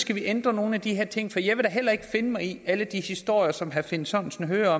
vi ændre nogle af de her ting for jeg vil heller ikke finde mig i alle de historier som herre finn sørensen hører